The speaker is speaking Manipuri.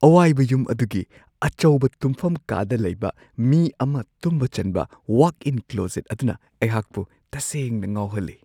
ꯑꯋꯥꯏꯕ ꯌꯨꯝ ꯑꯗꯨꯒꯤ ꯑꯆꯧꯕ ꯇꯨꯝꯐꯝ ꯀꯥꯗ ꯂꯩꯕ ꯃꯤ ꯑꯃ ꯇꯨꯝꯕ ꯆꯟꯕ ꯋꯥꯛ-ꯏꯟ ꯀ꯭ꯂꯣꯖꯦꯠ ꯑꯗꯨꯅ ꯑꯩꯍꯥꯛꯄꯨ ꯇꯁꯦꯡꯅ ꯉꯥꯎꯍꯜꯂꯦ ꯫